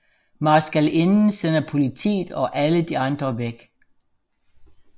Marskalinden sender politiet og alle de andre væk